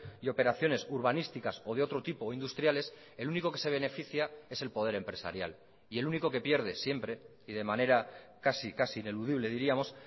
y operaciones urbanísticas o de otro tipo o industriales el único que se beneficia es el poder empresarial y el único que pierde siempre y de manera casi casi ineludible diríamos